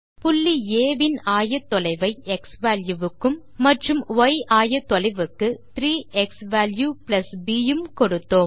புள்ளி ஆ இன் ஆயத்தொலைவை க்ஸ்வால்யூ க்கும் மற்றும் ய் ஆயத்தொலைவுக்கு 3 க்ஸ்வால்யூ ப் உம் கொடுத்தோம்